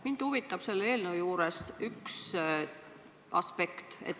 Mind huvitab selle eelnõu juures üks aspekt.